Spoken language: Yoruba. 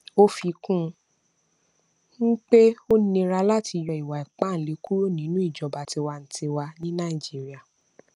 ó fi kún un pé ó nira láti yọ ìwà ipáǹle kúrò nínú ìjọba tiwantiwa bíi nàìjíríà